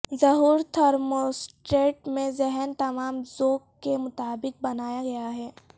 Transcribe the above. ظہور تھرموسٹیٹ میں ذہن تمام ذوق کے مطابق بنایا گیا ہے